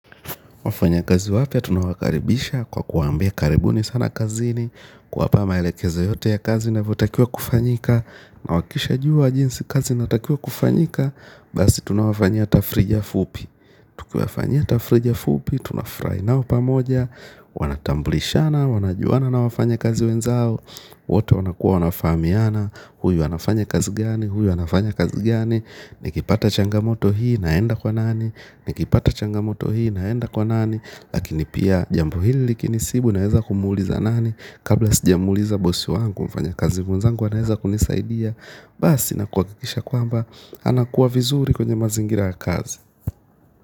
Wafanya kazi wapya tunawakaribisha kwa kuwaambia karibuni sana kazini, kuwapa maelekeza yote ya kazi inavyotakiwa kufanyika na wakisha jua jinsi kazi inatakiwa kufanyika. Basi tunawafanya tafrija fupi. Tukiwafanyia tafrija fupi, tunafurahi nao pamoja. Wanatambulishana, wanajuana na wafanya kazi wenzao. Wote wanakuwa wanafahamiana. Huyu anafanya kazi gani, huyu anafanya kazi gani? Nikipata changamoto hii naenda kwa nani nikipata changa moto hii naenda kwa nani, lakini pia jambo hili likinisibu naeza kumuuliza nani kabla sijamuliza bosi wangu mfanya kazi mwenzangu anaweza kunisaidia basi na kuhakikisha kwamba anakuwa vizuri kwenye mazingira ya kazi.